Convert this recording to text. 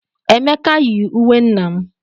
Emeka yi uwe nna m.